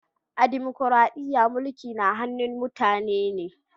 A dimukraɗiya, mulki na hannun mutane ne.